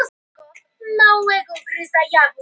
Ég ætla ekki að tala um einstaka leikmenn.